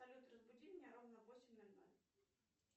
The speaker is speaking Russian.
салют разбуди меня ровно в восемь ноль ноль